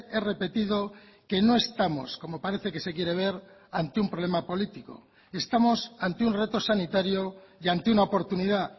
he repetido que no estamos como parece que se quiere ver ante un problema político estamos ante un reto sanitario y ante una oportunidad